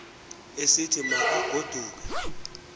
esithi ma kagoduke